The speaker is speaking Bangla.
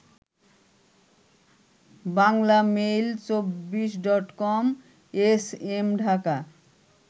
বাংলামেইল২৪ডটকম/এসএম ঢাকা